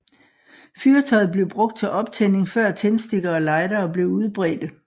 Fyrtøjet blev brugt til optænding før tændstikker og lightere blev udbredte